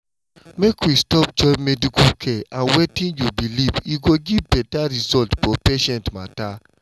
make we stop join medical care and wetin you believe e go give better result for patient matter.